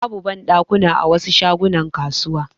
Babu banɗakuna a wasu shagunan kasuwa.